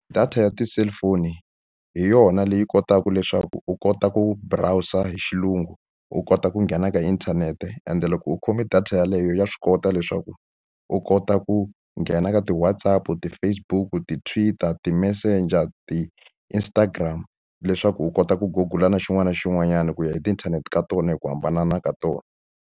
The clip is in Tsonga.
Data ya ti-cellphone hi yona leyi kotaka leswaku u kota ku browser-a hi xilungu, u kota ku nghena ka inthanete. Ende loko u khome data yeleyo ya swi kota leswaku u kota ku nghena ka ti-WhatsApp-u, ti-Facebook-u, ti-Twitter, ti-Messager, ti-Instagram leswaku u kota ku Google-a na xin'wana na xin'wanyana ku ya hi tiinthanete ka tona hi ku hambana ka tona.